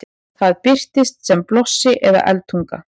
það birtist sem blossi eða eldtunga